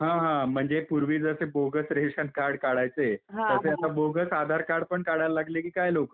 हं हं म्हणजे पूर्वी जसे बोगस रेशन कार्ड काढायचे, तसे आता बोगस आधार कार्ड पण काढायला लागले कि काय लोकं ?